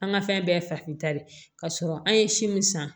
An ka fɛn bɛɛ ye farafinta de ye ka sɔrɔ an ye si min san